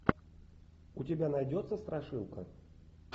у тебя найдется страшилка